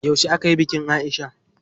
Yauce akayi bikin Aisha?